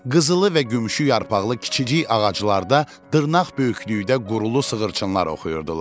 Qızılı və gümüşü yarpaqlı kiçicik ağaclarda dırnaq böyüklüyündə qurulu sığırçınlar oxuyurdular.